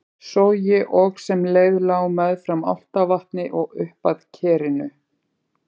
Sogi og sem leið lá meðfram Álftavatni og uppað Kerinu.